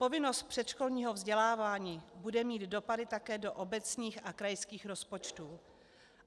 Povinnost předškolního vzdělávání bude mít dopady také do obecních a krajských rozpočtů.